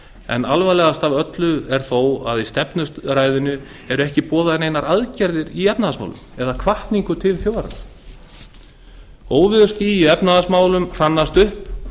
en alvarlegast af öllu er þó að i stefnuræðunni eru ekki boðaðar neinar aðgerðir í efnahagsmálum eða hvatningu til þjóðarinnar óveðursský í efnahagsmálum hrannast upp